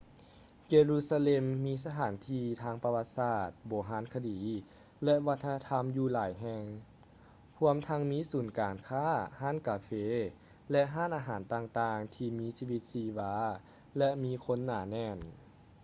ເຢຣູຊາເລັມ jerusalem ມີສະຖານທີ່ທາງປະຫວັດສາດ ໂບຮານຄະດີ ແລະ ວັດທະນະທຳຢູ່ຫຼາຍແຫ່ງ ພ້ອມທັງມີສູນການຄ້າ ຮ້ານກາເຟ ແລະ ຮ້ານອາຫານຕ່າງໆທີ່ມີຊີວິດຊີວາ ແລະ ມີຄົນໜາແໜ້ນ